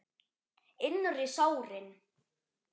Innri sárin.